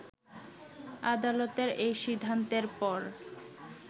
আদালতের এই সিদ্ধান্তের পর